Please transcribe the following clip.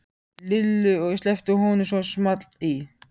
Lillu og sleppti honum svo small í.